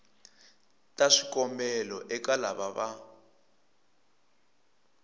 ta swikombelo eka lava va